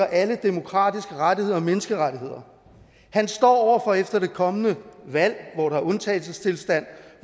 alle demokratiske rettigheder og menneskerettigheder og han står for efter det kommende valg hvor der er undtagelsestilstand